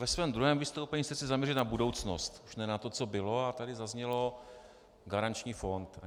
Ve svém druhém vystoupení se chci zaměřit na budoucnost, už ne na to, co bylo, a tady zaznělo garanční fond.